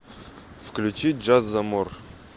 включи джазамор